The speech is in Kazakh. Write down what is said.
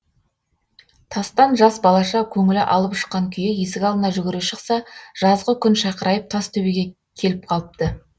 тастан жас балаша көңілі алып ұшқан күйі есік алдына жүгіре шықса жазғы күн шақырайып тас төбеге келіп қалыпты